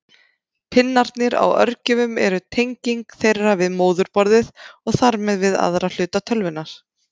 Pinnarnir á örgjörvum eru tenging þeirra við móðurborðið og þar með við aðra hluta tölvunnar.